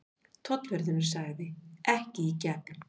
Tollvörðurinn sagði: Ekki í gegn.